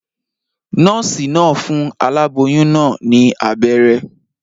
Nòòsì naa n fun aláboyún naa ní abéré